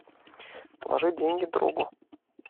положи деньги другу